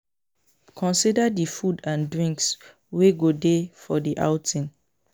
Consider di food and drinks wey go dey for di outing